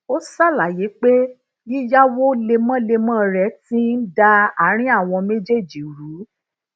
ó ṣàlàyé pé yiyáwó lemólemó re ti n da àárín àwọn méjèèjì rú